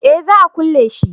eh za a kulle shi